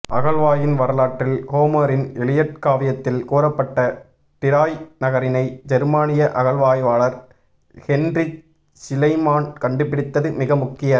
அகழ்வாய்வின் வரலாற்றில் ஹோமரின் எலியட் காவியத்தில் கூறப்பட்ட டிராய் நகரினை ஜெர்மானிய அகழ்வாய்வாளர் ஹென்ரிச் ஷிலைமான் கண்டுபிடித்தது மிக முக்கிய